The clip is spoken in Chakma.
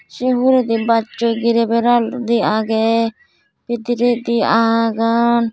se huredi bajsoi girey beraludi agey bidiredi agon.